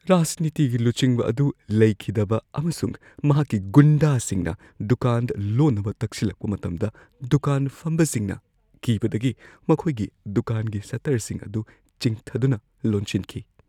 ꯔꯥꯖꯅꯤꯇꯤꯒꯤ ꯂꯨꯆꯤꯡꯕ ꯑꯗꯨ ꯂꯩꯈꯤꯗꯕ ꯑꯃꯁꯨꯡ ꯃꯍꯥꯛꯀꯤ ꯒꯨꯟꯗꯥꯁꯤꯡꯅ ꯗꯨꯀꯥꯟ ꯂꯣꯟꯅꯕ ꯇꯛꯁꯤꯜꯂꯛꯄ ꯃꯇꯝꯗ ꯗꯨꯀꯥꯟ ꯐꯝꯕꯁꯤꯡꯅ ꯀꯤꯕꯗꯒꯤ ꯃꯈꯣꯏꯒꯤ ꯗꯨꯀꯥꯟꯒꯤ ꯁꯠꯇꯔꯁꯤꯡ ꯑꯗꯨ ꯆꯤꯡꯊꯗꯨꯅ ꯂꯣꯟꯁꯤꯟꯈꯤ ꯫